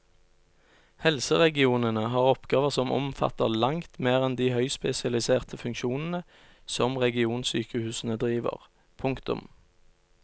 Helseregionene har oppgaver som omfatter langt mer enn de høyspesialiserte funksjonene som regionsykehusene driver. punktum